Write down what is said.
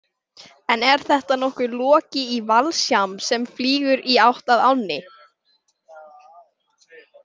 En er þetta nokkuð Loki í valsham sem flýgur í átt að ánni?